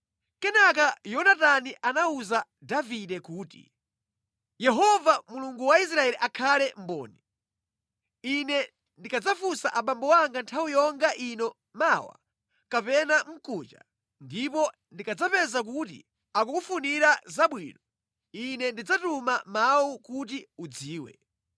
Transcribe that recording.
Kenaka Yonatani anawuza Davide kuti, “Yehova Mulungu wa Israeli akhale mboni! Ine ndikadzafunsa abambo anga nthawi yonga ino mmawa kapena mkuja, ndipo ndikadzapeza kuti akukufunira zabwino, ine ndidzatuma mawu kuti udziwe.